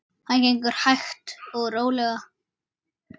Það gengur hægt og rólega.